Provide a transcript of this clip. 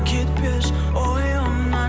кетпес ойымнан